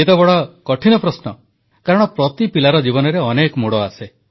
ଇଏ ତ ବଡ଼ କଠିନ ପ୍ରଶ୍ନ କାରଣ ପ୍ରତି ପିଲାର ଜୀବନରେ ଅନେକ ମୋଡ଼ ଆସେ